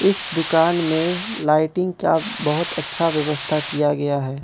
इस दुकान में लाइटिंग का बहोत अच्छा व्यवस्था किया गया है।